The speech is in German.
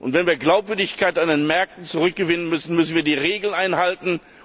Wenn wir Glaubwürdigkeit an den Märkten zurückgewinnen wollen, müssen wir die Regeln einhalten.